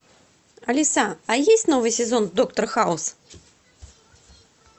алиса а есть новый сезон доктор хаус